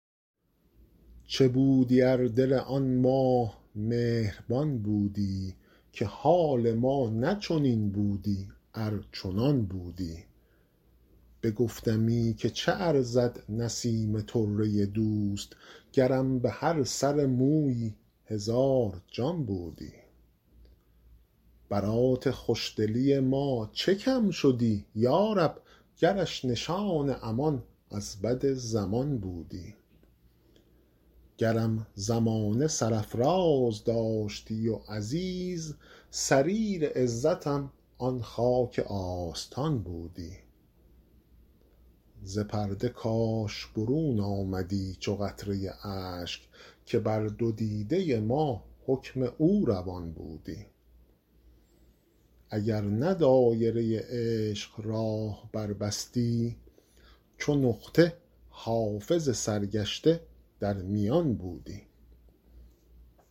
چه بودی ار دل آن ماه مهربان بودی که حال ما نه چنین بودی ار چنان بودی بگفتمی که چه ارزد نسیم طره دوست گرم به هر سر مویی هزار جان بودی برات خوش دلی ما چه کم شدی یا رب گرش نشان امان از بد زمان بودی گرم زمانه سرافراز داشتی و عزیز سریر عزتم آن خاک آستان بودی ز پرده کاش برون آمدی چو قطره اشک که بر دو دیده ما حکم او روان بودی اگر نه دایره عشق راه بربستی چو نقطه حافظ سرگشته در میان بودی